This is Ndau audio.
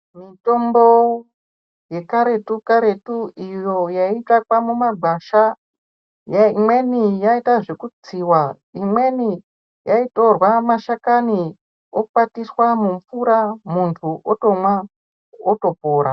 Mitombo yekaretu-karetu iyo yaitsvakwa mumagwasha, imweni yaaita zvokutsiwa, imweni yaitorwa mashakani okwatiswa mumvura, muntu otomwa, otopora.